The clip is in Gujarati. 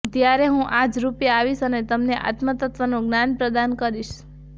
ત્યારે હું આ જ રૂપે આવીશ અને તમને આત્મતત્ત્વનું જ્ઞાન પ્રદાન કરીશ